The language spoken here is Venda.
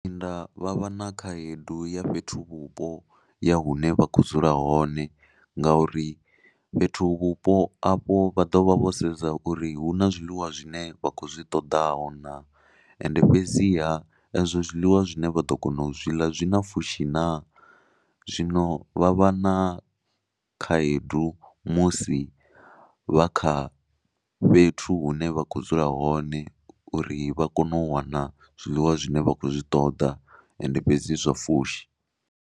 Nda vha vha na khaedu ya fhethuvhupo ya hune vha kho dzula hone ngauri fhethuvhupo afho vha ḓo vha vho sedza uri hu na zwiḽiwa zwine vha khou zwi ṱoḓaho naa, ende fhedziha ezwo zwiḽiwa zwine vha ḓo kona u zwiḽa zwi na fushi naa. Zwino vha vha na khaedu musi vha kha fhethu hune vha khou dzula hone uri vha kone u wana zwiḽiwa zwine vha khou zwi ṱoḓa ende fhedzi zwa fushi.